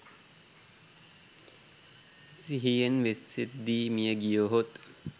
සිහියෙන් වෙසෙද්දී මිය ගියහොත්